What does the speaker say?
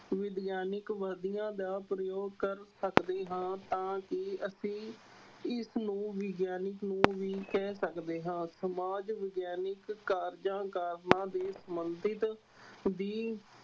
ਵਿਗਿਆਨਕ ਵਿਧੀਆਂ ਦਾ ਪ੍ਰਯੋਗ ਕਰ ਸਕਦੇ ਹਾਂ ਤਾਂ ਕਿ ਅਸੀਂ ਇਸਨੂੰ ਵਿਗਿਆਨਕ ਨੂੰ ਵੀ ਕਹਿ ਸਕਦੇ ਹਾਂ ਸਮਾਜ ਵਿਗਿਆਨਕ ਕਾਰਜਾਂ ਕਾਰਨਾਂ ਦੇ ਸੰਬੰਧਤ ਵੀ